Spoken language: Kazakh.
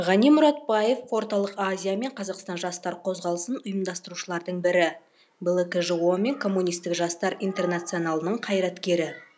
ғани мұратбаев орталық азия мен қазақстан жастар қозғалысын ұйымдастырушылардың бірі блкжо мен коммунистік жастар интернационалының қайраткері